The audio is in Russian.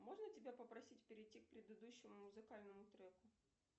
можно тебя попросить перейти к предыдущему музыкальному треку